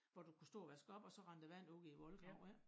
Hvor du kunne stå og vaske op og så rendte der vand ud i æ voldgrav ik